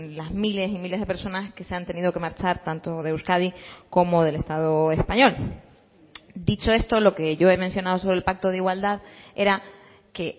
las miles y miles de personas que se han tenido que marchar tanto de euskadi como del estado español dicho esto lo que yo he mencionado sobre el pacto de igualdad era que